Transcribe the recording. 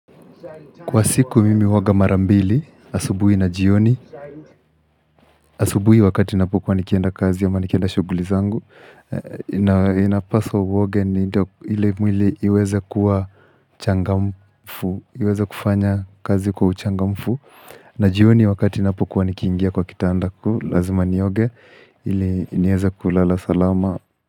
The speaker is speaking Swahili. Kwa siku mimi huoga mara mbili, asubuhi na jioni. Asubuhi wakati ninapokuwa nikienda kazi ama nikienda shughuli zangu inapaswa uoge ni ndo ili mwili iweza kuwa changamfu Iweza kufanya kazi kwa uchangamfu na jioni wakati napokuwa nikiendia kwa kitanda Lazima nioge, ili nieza kulala salama.